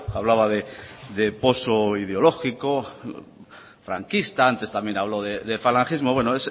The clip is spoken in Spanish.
hablaba de poso ideológico franquista antes también habló de falangismo bueno